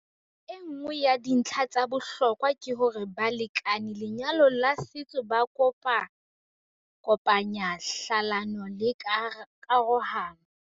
Enngwe ya dintlha tsa bohlokwa ke hore balekane lenyalong la setso ba kopakopanya hlalano le karohano.